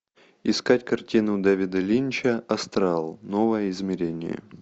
искать картину дэвида линча астрал новое измерение